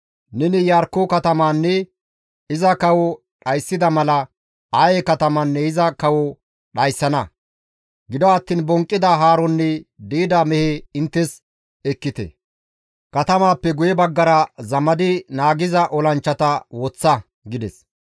Neni Iyarkko katamaanne iza kawoza dhayssida mala Aye katamaanne iza kawozakka dhayssana. Gido attiin bonqqida haarozanne di7ida meheza inttes ekkite. Katamaappe guye baggara zamadi naagiza olanchchata woththa» gides.